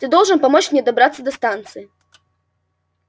ты должен помочь мне добраться до станции